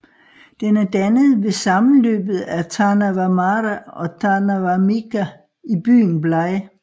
Den er dannet ved sammenløbet af Târnava Mare og Târnava Mică i byen Blaj